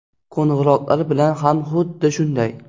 Qo‘ng‘iroqlar bilan ham xuddi shunday.